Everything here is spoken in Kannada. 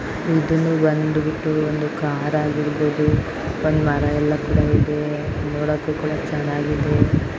ಇದುನೂ ಬಂದ್ಬುಟ್ಟು ಒಂದು ಕಾರ್ ಆಗಿರ್ಬಹುದು ಒಂದು ಮರಯೆಲ್ಲಾ ಕೂಡ ಇದೆ ನೋಡಕೊ ಕೂಡ ಚನ್ನಾಗಿದೆ.